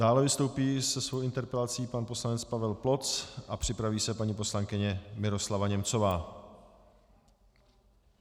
Dále vystoupí se svou interpelací pan poslanec Pavel Ploc a připraví se paní poslankyně Miroslava Němcová.